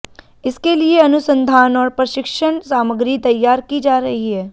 इसके लिए अनुसंधान और प्रशिक्षण सामग्री तैयार की जा रही है